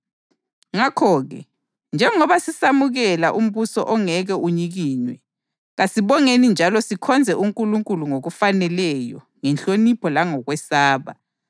Ngakho-ke, njengoba sisamukela umbuso ongeke unyikinywe, kasibongeni njalo sikhonze uNkulunkulu ngokufaneleyo ngenhlonipho langokwesaba,